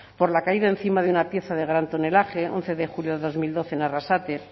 por la caída encima de una pieza de gran tonelaje once de julio de dos mil doce en arrasate